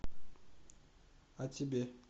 а тебе